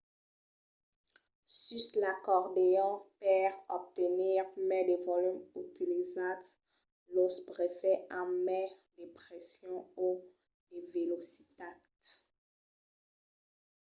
sus l'acordeon per obtenir mai de volum utilitzatz los bofets amb mai de pression o de velocitat